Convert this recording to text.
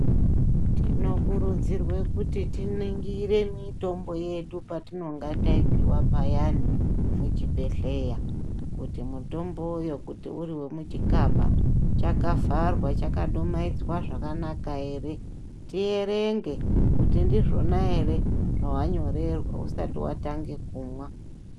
Tinokurudzirwe kuti tiningire mitombo yedu patinonga taipiwa payani muchibhedhleya kuti mutombo uyo kuti uri wemuchikaba chakavharwa, chakadumaidzwa zvakanaka ere, tierenge kuti ndizvona ere zvawanyorerwa usati watange kumwa.